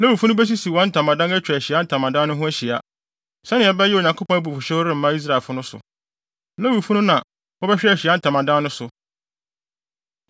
Lewifo no besisi wɔn ntamadan atwa Ahyiae Ntamadan no ho ahyia, sɛnea ɛbɛyɛ a Onyankopɔn abufuwhyew remma Israelfo no so. Lewifo no na wɔbɛhwɛ Ahyiae Ntamadan no so.”